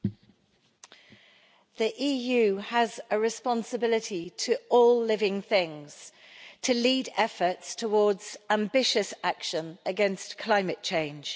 Madam President, the EU has a responsibility to all living things to lead efforts towards ambitious action against climate change.